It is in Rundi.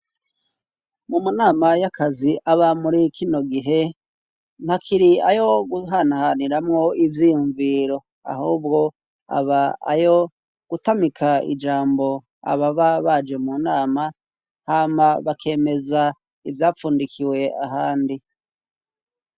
Mu manama y'akazi aba muri kino gihe ntakiri ayo guhanhaniramwo ivyiyumviro ahubwo aba ayo gutamika ijambo aba ba baje mu nama hama bakemeza ivyapfundikiwe ahandi.